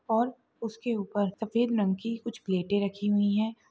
और उसके ऊपर सफेद रंग की कुछ प्लेटे रखी हुई है।